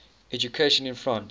education in france